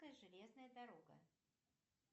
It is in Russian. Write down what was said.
железная дорога